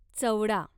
चवडा